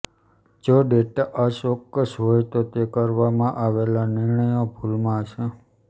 જો ડેટા અચોક્કસ હોય તો તે કરવામાં આવેલા નિર્ણયો ભૂલમાં હશે